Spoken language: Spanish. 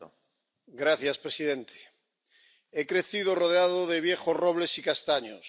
Señor presidente, he crecido rodeado de viejos robles y castaños.